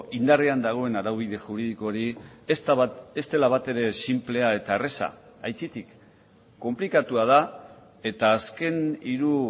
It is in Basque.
indarrean dagoen araubide juridiko hori ez dela batere sinplea eta erraza aitzitik konplikatua da eta azken hiru